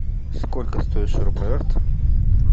сколько стоит шуруповерт